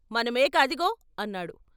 మన మేక అదుగో " అన్నాడు.